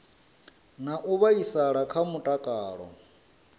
na u vhaisala kha mutakalo